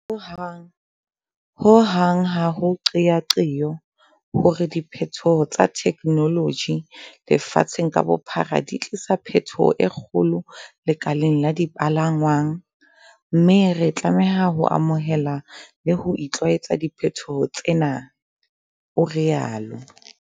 "Ho hang ha ho qeaqeo ya hore diphethoho tsa thekenoloji lefatsheng ka bophara di tlisa phethoho e kgolo lekaleng la dipalangwang, mme re tlame ha ho amohela le ho itlwaetsa diphethoho tsena," o rialo.